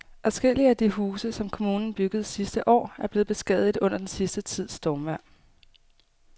Adskillige af de huse, som kommunen byggede sidste år, er blevet beskadiget under den sidste tids stormvejr.